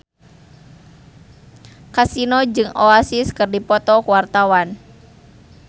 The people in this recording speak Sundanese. Kasino jeung Oasis keur dipoto ku wartawan